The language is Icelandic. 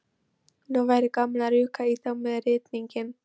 Nú væri gaman að rjúka í þá með rýtinginn.